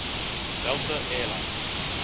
delta air lines